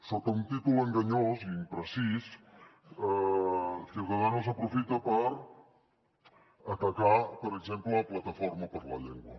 sota un títol enganyós i imprecís ciudadanos aprofita per atacar per exemple plataforma per la llengua